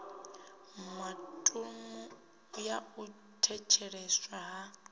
datumu ya u thetsheleswa ha